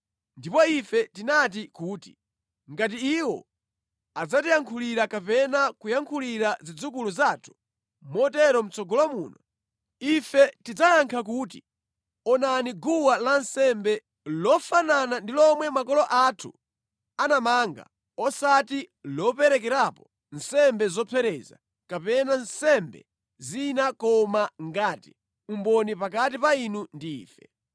“Ndipo ife tinati kuti, ‘Ngati iwo adzatiyankhulira kapena kuyankhulira zidzukulu zathu motero mʼtsogolo muno, ife tidzayankha kuti, onani guwa lansembe, lofanana ndi lomwe makolo athu anamanga osati loperekerapo nsembe zopsereza kapena nsembe zina koma ngati umboni pakati pa inu ndi ife.’